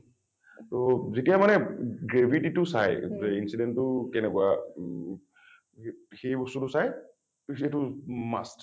টো যেতিয়া মানে গে gravity টো চায় incident টো কেনেকুৱা ম সে সেই বস্তুটো চায় । কিন্তু সেইটো must।